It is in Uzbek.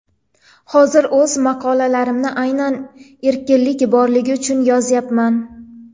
Hozir o‘z maqolalarimni aynan erkinlik borligi uchun yozyapman.